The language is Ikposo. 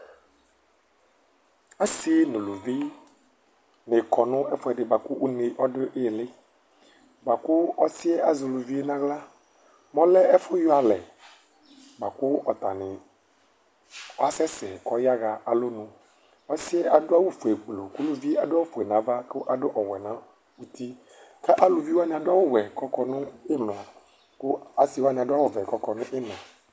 Ɔsi nʋ ʋlʋvi akɔ nʋ ɛfʋɛdi kʋ une dʋ iili lakʋ ɔsi yɛ azɛ ʋlʋvi yɛ nʋ aɣla Mɛ ɔlɛ ɛfʋyɔ alɛ bʋakʋ ɔtani asɛsɛ kʋ ɔyaxa alɔnʋ Adʋ awʋfue gbluu kʋ adʋ ofue nʋ ava, ɔwɛ nʋ uti, kʋ alʋviwa adʋ awʋwɛ kʋ ɔkɔnʋ imla kʋ asiwani adʋ awʋvɛ kʋ ɔkɔnʋ iina